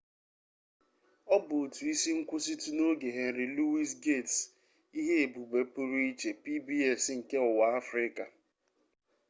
ọ bụ otu isi nkwụsịtụ n'oge henry louis gates ihe-ebube pụrụ iche pbs nke ụwa afrịka